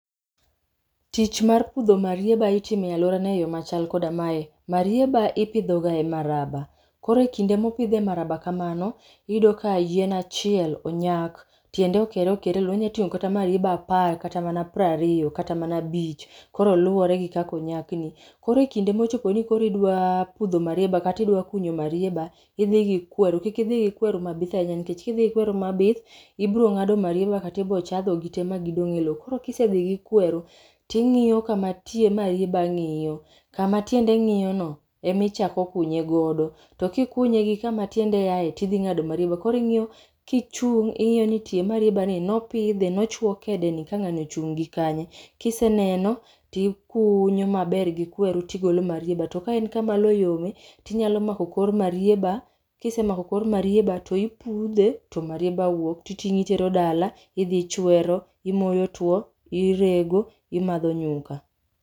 Tich mar pidho marieba itimo e aluorana e yo machal koda mae. Marieba ipidho ga e maraba, koro e kinde ma opidhe e maraba kamano iyudo ka yien achiel onyak, tiende okere okere, yien otingo kata marieba apar kata mana prariyo kata mana abich, koro luore gi kaka onyak ni. Koro ekinde mochopo koro idwa pudho marieba kata ni idwa kunyo marieba idhi gi kweru, kik idhi gi kweru mabith ahinya nikech kidhi gi kweru mabith ibiro ngado marieba kata ibiro chadho gite ma gidong e loo. Koro kisedhi gi kweru tingiyo kama tie maribeba ngiyo, kama tiende ngiyo no ema ichako kunye godo, to kikunye gi kama tiende aye tidhi ngado marieba, koro ingiyo kichung, ingiyo ni tie marieba ni nopidhe, nochuo kede ni ka ngani ochung gi kanye. Kiseneno tikunyo maber gi kweru tigolo marieba to ka en kama loo yome tinyalo mako kor marieba, kisemako kor marieba to ipudhe to marieba wuok titingo itero dala, idhi ichwero, imoyo tuo, irego, imadho nyuka